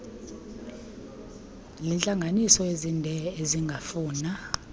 lineentlanganiso ezinde ezingafuna